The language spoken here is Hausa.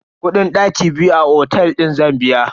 Kudin daki biyu a otel din zan biya.